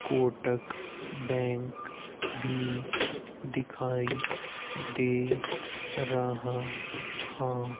Kotak bank भी दिखाई दे रहा हां।